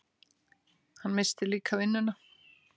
Hann missti líka vinnuna.